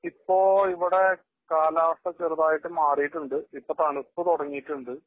ഇപ്പോ ഇവിടെ കാലാവസ്ഥ ചെറുതായിട്ട് മാറിയിട്ടുണ്ട്. ഇപ്പോ തണുപ്പ് തുടങ്ങിയിട്ടുണ്ട്.